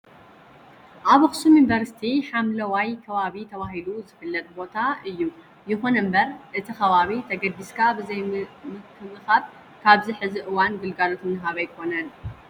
ኣብ ኣክሱም ዩኒቨርሲቲ ሓምለዋይ ከባቢ ተባሂሉ ዝፍለጥ ቦታ እዩ። ይኹን እምበር እቲ ከባቢ ተገድስካ ብዘይምክብካብ ኣብዚ ሕዚ እዋን ግልጋሎት እናሃበ ኣይኾነን።